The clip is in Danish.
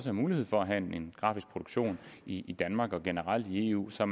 er mulighed for at have en grafisk produktion i danmark og generelt i eu så